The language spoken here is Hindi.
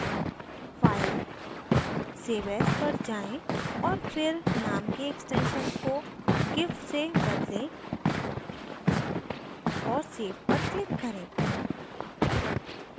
file save as पर जाएँ और फिर name के extension को gif से बदलें और save पर click करें